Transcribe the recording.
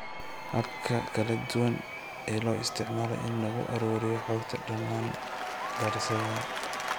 Hababka kala duwan ee loo isticmaalo in lagu ururiyo xogta dhammaan daraasadaha.